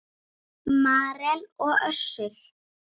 Marel og Össur.